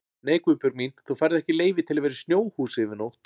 Nei Guðbjörg mín, þú færð ekki leyfi til að vera í snjóhúsi yfir nótt